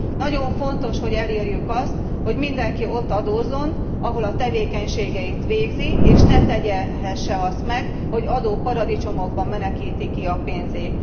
Nagyon fontos, hogy elérjük azt, hogy mindenki ott adózzon, ahol a tevékenységeit végzi, és ne tehesse azt meg, hogy adóparadicsomokba menekíti ki a pénzét.